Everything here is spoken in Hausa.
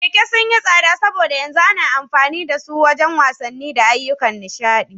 Kekuna sun yi tsada saboda yanzu ana amfani da su wajen wasanni da ayyukan nishaɗi.